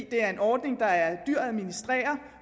det er en ordning der er dyr at administrere